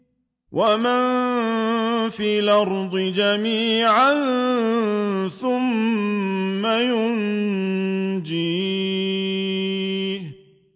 وَمَن فِي الْأَرْضِ جَمِيعًا ثُمَّ يُنجِيهِ